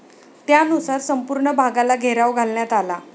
त्यानुसार संपूर्ण भागाला घेराव घालण्यात आला.